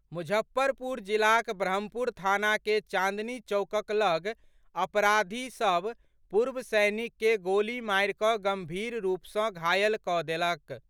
मुजफ्फरपुर जिलाक ब्रह्मपुरा थाना के चांदनी चौकक लऽग अपराधी सभ पूर्व सैनिक के गोली मारि कऽ गंभीर रूप सँ घायल कऽ देलक।